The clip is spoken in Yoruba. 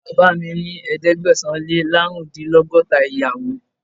Bàbáà mi ní ẹ̀ẹ́dẹ́gbẹ̀sán-Lé-láàrúndínlọ́gọ́ta ìyàwó.